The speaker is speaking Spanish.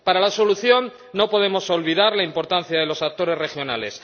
Para la solución, no podemos olvidar la importancia de los actores regionales